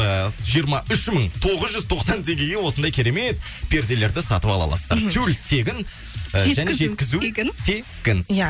ыыы жиырма үш мың тоғыз жүз тоқсан теңгеге осындай керемет перделерді сатып ала аласыздар тюль тегін і және жеткізу тегін иә